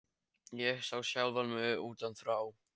Ég sá sjálfa mig utan frá.